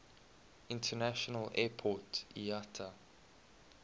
international airport iata